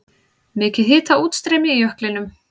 Mikið hitaútstreymi í jöklinum